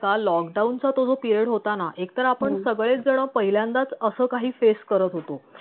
का lockdown चा तो जो period होता ना एकतर आपण सगळेच जन पहिल्यांदाच असं काही face करत होतो